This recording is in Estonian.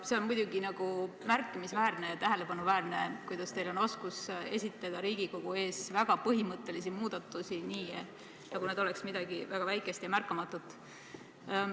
No see on muidugi märkimisväärne ja tähelepanuväärne, kuidas teil on oskus esitada Riigikogu ees väga põhimõttelisi muudatusi nii, nagu need oleks midagi väga väikest ja märkamatut.